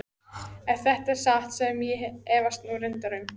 Ef þetta er satt sem ég efast nú reyndar um.